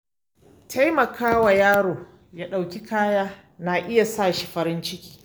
Taimaka wa yaro ya ɗauki kaya na iya sa shi farin ciki.